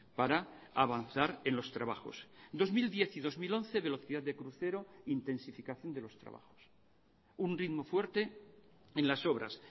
para avanzar en los trabajos dos mil diez y dos mil once velocidad de crucero intensificación de los trabajos un ritmo fuerte en las obras